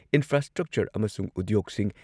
infrastructure ꯑꯃꯁꯨꯡ ꯎꯗ꯭ꯌꯣꯒꯁꯤꯡ